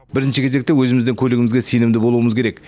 бірінші кезекте өзіміздің көлігімізге сенімді болуымыз керек